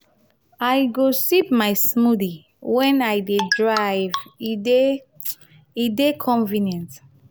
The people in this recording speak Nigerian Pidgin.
i go sip my smoothie wen i dey drive e e dey e dey convenient.